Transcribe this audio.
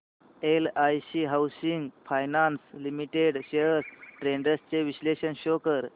LIC housing finance limited shares trends चे विश्लेषण show कर